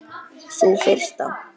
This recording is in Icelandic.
Sú fyrsta?